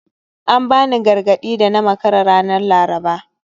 An bani gargadi da na makara ranar Laraba